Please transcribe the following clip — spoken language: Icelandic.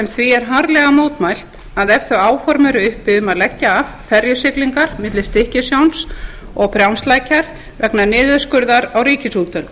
sem því er harðlega mótmælt að ef þau áform eru uppi um að leggja af ferjusiglingar milli stykkishólms og brjánslækjar vegna niðurskurðar á ríkisútgjöldum